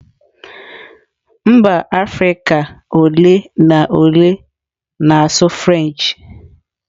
Mba Afirika ole na ole na-asụ French.